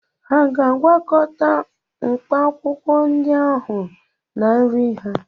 Hà ga-agwakọta mkpaakwụkwọ ndị ahụ na nri ha?